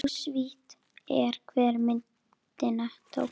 Óvíst er, hver myndina tók.